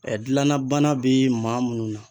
dilanna bana bɛ maa munnu na